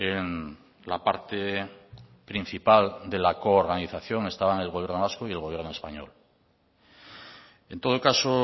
en la parte principal de la coorganización estaban el gobierno vasco y el gobierno español en todo caso